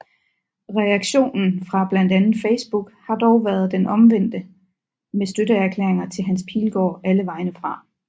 Reaktionen fra blandt andet Facebook har dog været den omvendte med støtteerklæringer til Hans Pilgaard alle vegne fra